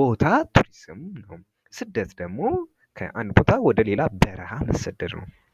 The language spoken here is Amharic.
ቦታ ቱሪዝም ነው። ስደት ደሞ ከአንድ ቦታ ወደ ሌላ በረሀ መሰደድ ነው።